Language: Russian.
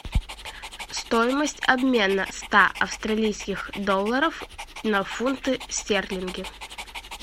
стоимость обмена ста австралийских долларов на фунты стерлинги